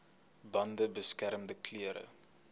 bande beskermende klere